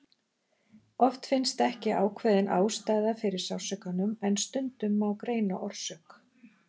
oft finnst ekki ákveðin ástæða fyrir sársaukanum en stundum má greina orsök